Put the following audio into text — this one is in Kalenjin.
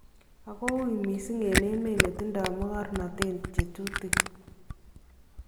Ako wuui missing en emeet netindo mokornoteet chetutikiin .